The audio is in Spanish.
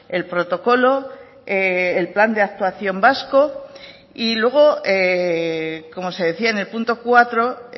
el protocolo el plan de actuación vasco y luego como se decía en el punto cuatro